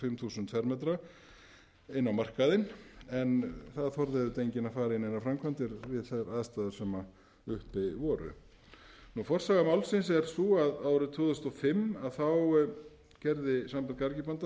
fimm þúsund fermetra inn á markaðinn en það þorði enginn að fara í neinar framkvæmdir við þær aðstæður sem uppi voru forsaga málsins er sú að árið tvö þúsund og fimm gerði samband garðyrkjubænda